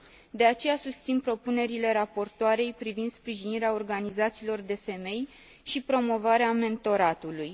De aceea, susțin propunerile raportoarei privind sprijinirea organizațiilor de femei și promovarea mentoratului.